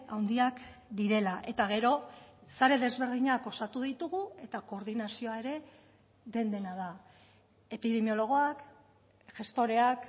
handiak direla eta gero sare desberdinak osatu ditugu eta koordinazioa ere den dena da epidemiologoak gestoreak